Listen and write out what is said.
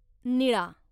निळा